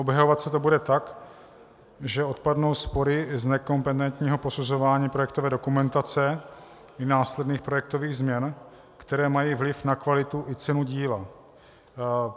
Obhajovat se to bude tak, že odpadnou spory z nekompetentního posuzování projektové dokumentace i následných projektových změn, které mají vliv na kvalitu i cenu díla.